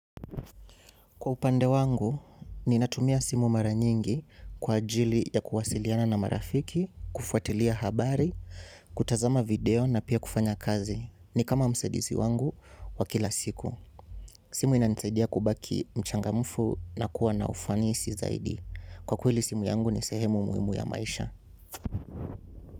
Kwa upande wangu, ninatumia simu mara nyingi kwa ajili ya kuwasiliana na marafiki, kufuatilia habari, kutazama video na pia kufanya kazi. Ni kama msaidizi wangu wa kila siku. Simu inanisaidia kubaki mchangamfu na kuwa na ufanisi zaidi. Kwa kweli simu yangu ni sehemu muhimu ya maisha.